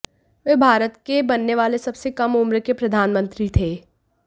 वे भारत के बनने वाले सबसे कम उम्र के प्रधानमंत्री थे